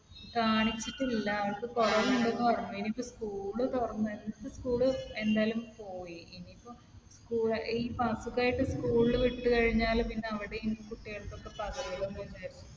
കാണിച്ചിട്ടില്ല. അവൾക്ക് കുറവ് ഇണ്ടെന്ന് പറഞ്ഞു. ഇനിയിപ്പോ school തുറന്ന് ഇപ്പൊ school ൽ എന്തായാലും പോയി. ഇനിയിപ്പോ ഈ അസുഖമായിട്ട് school ൽ വിട്ട് കഴിഞ്ഞാൽ പിന്നെ അവിടെയും കുട്ടികൾക്കൊക്കെ പകരുമല്ലോന്ന് വിചാരിച്ചിട്ടാണ്.